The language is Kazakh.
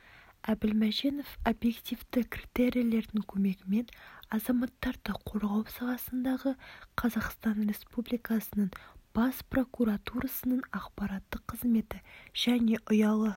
әбілмаженов объективті критерийлердің көмегімен азаматтарды қорғау саласындағы қазақстан республикасының бас прокуратурасының ақпараттық қызметі және ұялы